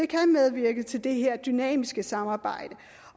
kan medvirke til det her dynamiske samarbejde